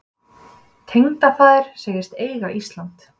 Tengdafaðir segist eiga Ísland.